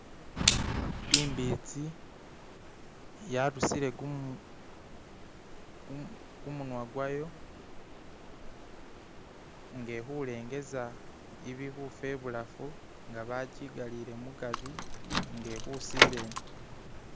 Imbitsi yarusile kumunwa gwayo nga ili khulengeza ibili khufa ibulafu, bakigalire mugari nga ili khusila eno.